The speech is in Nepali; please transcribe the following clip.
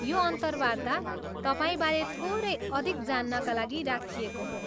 यो अन्तर्वाता तपाईँबारे थोरै अधिक जान्नका लागि राखिएको हो।